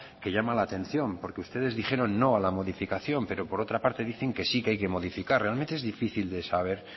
que llama la atención porque ustedes dijeron no a la modificación pero por otra parte dicen que sí que hay que modificar realmente es difícil de saber